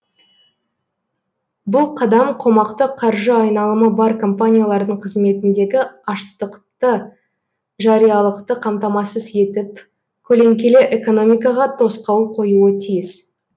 бұл қадам қомақты қаржы айналымы бар компаниялардың қызметіндегі аштықты жариялықты қамтамасыз етіп көлеңкелі экономикаға тосқауыл қоюы тиіс